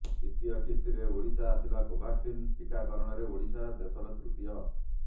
ଦ୍ୱିତୀୟ କିସ୍ତିରେ ଓଡ଼ିଶା ଆସିଲା କୋଭାକ୍ସିନ ଟିକାକରଣରେ ଓଡ଼ିଶା ଦେଶରେ ତୃତୀୟ